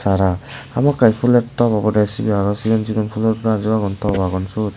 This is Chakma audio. tara hamakkiy puler top obode cibi aro cigon cigon pulor gaj ow agon top agon sot.